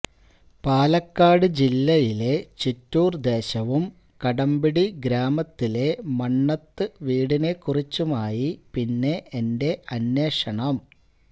പാലക്കാട് ജില്ലയിലെ ചിറ്റൂര് ദേശവും കടമ്പിടി ഗ്രാമത്തിലെ മണ്ണത്ത് വീടിനെക്കുറിച്ചുമായി പിന്നെ എന്റെ അന്വേഷണം